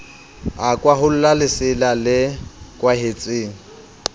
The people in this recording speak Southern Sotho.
a kwaholla lesela le kwahetseng